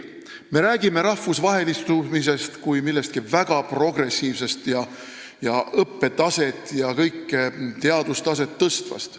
Me räägime rahvusvahelistumisest kui millestki väga progressiivsest, õppe- ja teadustaset tõstvast.